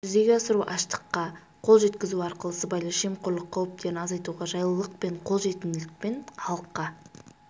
жүзеге асыру ашықтыққа қол жеткізу арқылы сыбайлас жемқорлық қауіптерін азайтуға жайлылық пен қол жетімділікпен халыққа